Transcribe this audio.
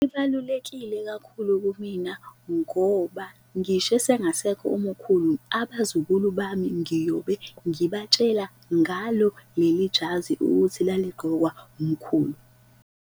Kubalulekile kakhulu kumina ngoba ngisho esengasekho umkhulu abazukulu bami ngiyobe ngibatshela ngalo leli jazi ukuthi laligqokwa umkhulu.